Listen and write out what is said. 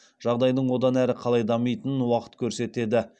жағдайдың одан әрі қалай дамитынын уақыт көрсетеді